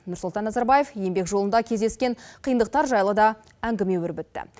нұрсұлтан назарбаев еңбек жолында кездескен қиындықтар жайлы да әңгіме өрбітті